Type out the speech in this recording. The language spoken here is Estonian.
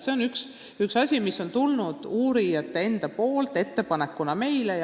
See on üks asi, mis on uurijatelt ettepanekuna tulnud.